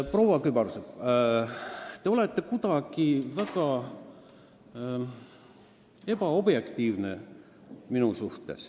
Proua Kübarsepp, te suhtute minusse kuidagi väga ebaobjektiivselt.